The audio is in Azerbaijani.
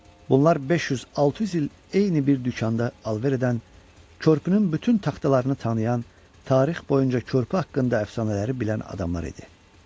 Bunlar 500-600 il eyni bir dükanda alver edən, körpünün bütün taxtalarını tanıyan, tarix boyunca körpü haqqında əfsanələri bilən adamlar idi.